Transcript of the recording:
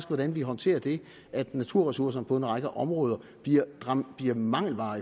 hvordan vi håndterer det at naturressourcerne på en række områder bliver en mangelvare